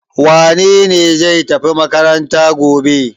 Wane ne zai tafi makaranta gobe?